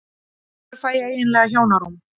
Hvenær fæ ég eiginlega hjónarúm?